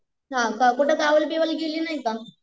हाका कुठं गावाला बिवाला गेली नाही का?